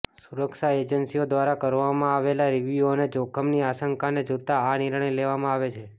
સુરક્ષા એજન્સીઓ દ્વારા કરવામાં આવેલા રિવ્યૂ અને જોખમની આશંકાને જોતા આ નિર્ણય લેવામાં આવે છે